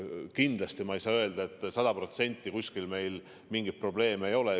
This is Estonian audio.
Kindlasti ma ei saa öelda, et meil on sada protsenti kõik korras ja kuskil mingeid probleeme ei ole.